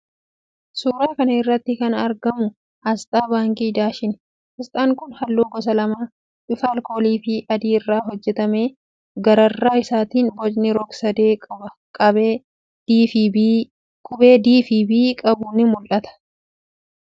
Suuraa kana irratti kan argamu aasxaa Baankii Daasheni. Aasxaan kun halluu gosa lama, bifa alkooliifi adii irraa hojjetame. Gararraa isaatiin bocni rog-sadee qubee "d" fi "b" qabu ni mul'ata. Maqaan baankichaa immoo afaan Amaaraafi Ingiliziitiin irratti barreeffamee jira.